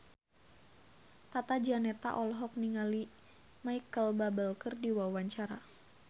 Tata Janeta olohok ningali Micheal Bubble keur diwawancara